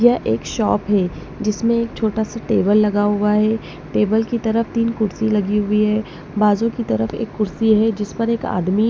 यह एक शॉप है जिसमें एक छोटा सा टेबल लगा हुआ है टेबल की तरफ तीन कुर्सी लगी हुई है बाजू की तरफ एक कुर्सी है जिस पर एक आदमी--